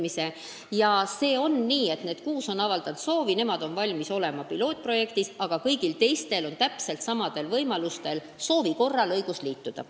Nii et sellega on nii, et kuus omavalitsust on avaldanud soovi, nemad on valmis olema pilootprojektis, aga kõigil teistel on täpselt samamoodi õigus soovi korral liituda.